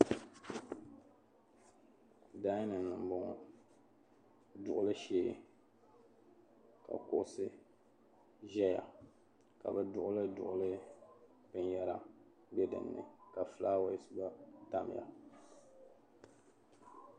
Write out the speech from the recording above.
"Dinning" ni m-bɔŋɔ duɣili shee ka kuɣisi ʒeya ka be duɣili duɣili binyɛra be dinni ka filaawas gba tamya.